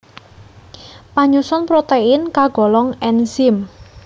Panyusun protein kagolong enzim